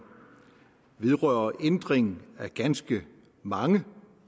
vedrører en ændring af ganske mange